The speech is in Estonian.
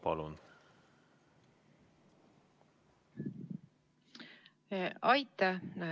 Palun!